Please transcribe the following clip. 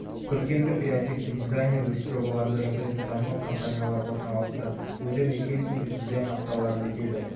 көркемдік-креативті дизайнерлік жобаларды жасайтын танымал компаниялар орналасты.бұл жерде хельсиндік дизайн апталары өтеді